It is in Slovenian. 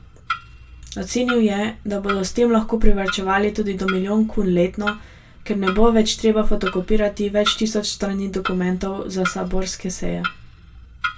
Ocenil je, da bodo s tem lahko privarčevali tudi do milijon kun letno, ker ne bo več treba fotokopirati več tisoč strani dokumentov za saborske seje.